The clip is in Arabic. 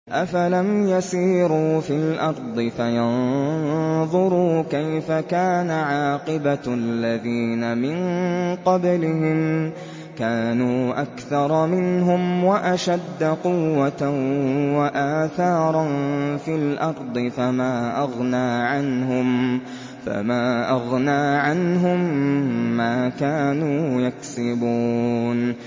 أَفَلَمْ يَسِيرُوا فِي الْأَرْضِ فَيَنظُرُوا كَيْفَ كَانَ عَاقِبَةُ الَّذِينَ مِن قَبْلِهِمْ ۚ كَانُوا أَكْثَرَ مِنْهُمْ وَأَشَدَّ قُوَّةً وَآثَارًا فِي الْأَرْضِ فَمَا أَغْنَىٰ عَنْهُم مَّا كَانُوا يَكْسِبُونَ